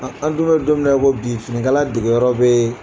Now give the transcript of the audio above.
An an dun bɛ don mina i ko bi finikala dege yɔrɔ bɛ yen.